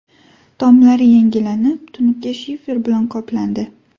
Tomlari yangilanib, tunuka shifer bilan qoplandi.